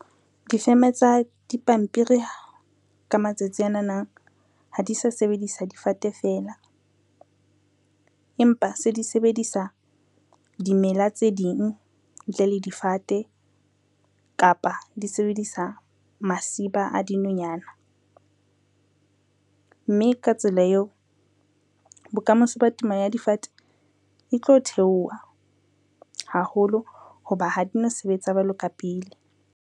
Difeme tsa dipampiri ka matsatsi anana ha di sa sebedisa difate fela, empa se di sebedisa dimela tse ding ntle le difate kapa di sebedisa masiba a dinonyana, mme ka tsela eo, bokamoso ba temo ya difate e tlo theoha haholo ho ba ha di no sebets jwalo ka pele.